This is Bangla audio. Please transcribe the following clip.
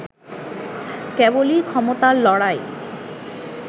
কেবলই ক্ষমতার লড়াই